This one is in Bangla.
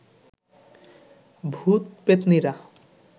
ভূত পেত্নীরা